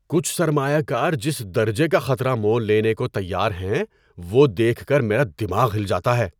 کچھ سرمایہ کار جس درجے کا خطرہ مول لینے کو تیار ہیں وہ دیکھ کر میرا دماغ ہل جاتا ہے۔